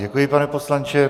Děkuji, pane poslanče.